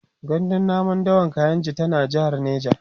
gandun namun dawan kainji tana jehar neja